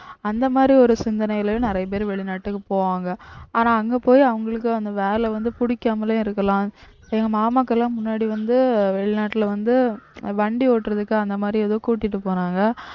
அந்த மாதிரி ஒரு சிந்தனையில நிறைய பேர் வெளிநாட்டுக்கு போவாங்க ஆனா அங்க போய் அவங்களுக்கு அந்த வேலை வந்து புடிக்காமலே இருக்கலாம் எங்க மாமாவுக்கு எல்லாம் முன்னாடி வந்து வெளிநாட்டுல வந்து வண்டி ஓட்டுறதுக்கு அந்த மாதிரி ஏதோ கூட்டிட்டு போனாங்க